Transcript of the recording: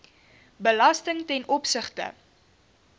belasting ten opsigte